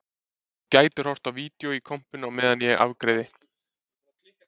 Þú gætir horft á vídeó í kompunni á meðan ég afgreiði